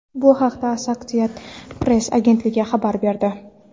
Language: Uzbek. Bu haqda Associated Press agentligi xabar berdi .